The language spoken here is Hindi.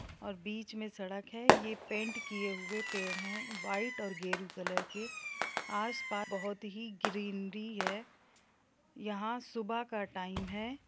और बीच में सड़क है ये पैन्ट किए हुए पेड़ है व्हाइट और गेरू कलर के आसपास बोहोत ही ग्रीनरी है यहाँ सुबह का टाइम है ।